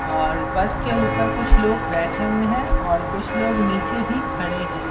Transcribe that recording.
और बस के ऊपर कुछ लोग बैठे हुए हैं और कुछ लोग नीचे भी खड़े हैं।